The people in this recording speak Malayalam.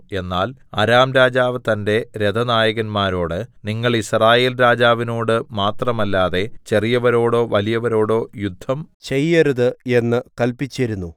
എന്നാൽ അരാം രാജാവ് തന്റെ രഥനായകന്മാരോട് നിങ്ങൾ യിസ്രായേൽരാജാവിനോടു മാത്രമല്ലാതെ ചെറിയവരോടോ വലിയവരോടോ യുദ്ധം ചെയ്യരുത് എന്ന് കല്പിച്ചിരുന്നു